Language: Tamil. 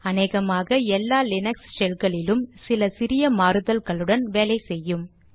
அநேகமாக எல்லா லீனக்ஸ் ஷெல்களிலும் சில சிறிய மாறுதல்களுடன் வேலை செய்யும்